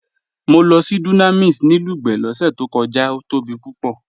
Mọ́ lọ sí Dunamis ni Lugbe lọ́sẹ̀ tó kọja, ó tóbi púpọ̀.